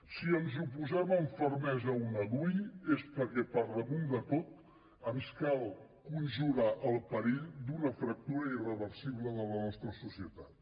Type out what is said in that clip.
si ens oposem amb fermesa a una dui és perquè per damunt de tot ens cal conjurar el perill d’una fractura irreversible de la nostra societat